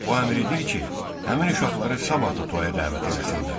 O əmr edir ki, həmin uşaqları sabah da toyya dəvət eləsinlər.